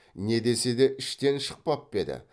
не десе де іштен шықпап па еді